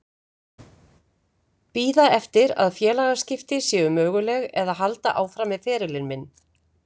Bíða eftir að félagaskipti séu möguleg eða halda áfram með ferilinn minn?